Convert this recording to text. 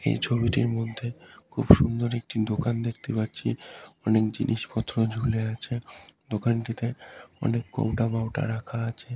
এই ছবিটির মধ্যে খুব সুন্দর একটি দোকান দেখতে পাচ্ছি অনেক জিনিসপত্র ঝুলে আছে দোকানটিতে অনেক কৌটা বাউটা রাখা আছে।